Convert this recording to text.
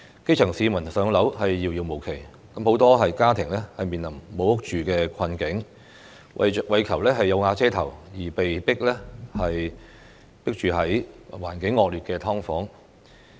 基層市民"上樓"遙遙無期，很多家庭面臨"無屋住"的困境，為求"有瓦遮頭"，而被迫擠住在環境惡劣的"劏房"。